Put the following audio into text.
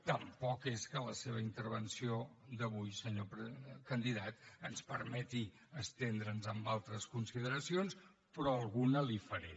tampoc és que la seva intervenció d’avui senyor candidat ens permeti estendre’ns en altres consideracions però alguna li’n faré